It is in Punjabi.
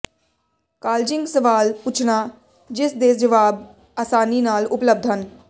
ਕਾਲਜਿੰਗ ਸਵਾਲ ਪੁੱਛਣਾ ਜਿਸ ਦੇ ਜਵਾਬ ਆਸਾਨੀ ਨਾਲ ਉਪਲਬਧ ਹਨ